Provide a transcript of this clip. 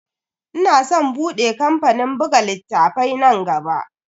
Ina san bude kamfanin buga littafai nan gaba.